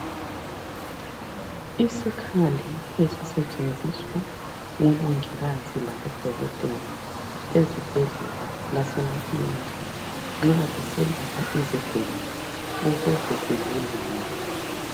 Isikhali esisetshenziswa ngo mongikazi labo dokotela ezibhedlela lase makliniki nxa beselapha izigulane ukuze zilulame.